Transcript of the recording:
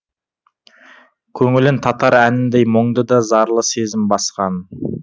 көңілін татар әніндей мұңды да зарлы сезім басқан